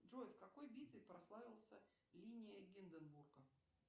джой в какой битве прославился линия гинденбурга